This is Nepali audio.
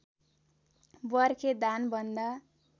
बर्खे धान भन्दा